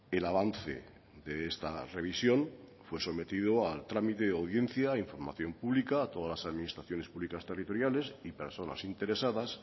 el avance de esta revisión fue sometido a trámite de audiencia información públicas a todas las administraciones públicas territoriales y personas interesadas